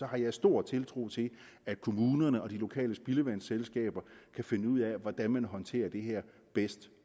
har jeg stor tiltro til at kommunerne og de lokale spildevandsselskaber kan finde ud af hvordan man håndterer det her bedst